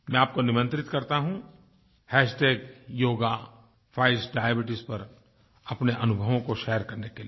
मैं आपको निमंत्रित करता हूँ हैशटैग योगा फाइट्स डायबीट्स पर अपने अनुभवों को शेयर करने के लिए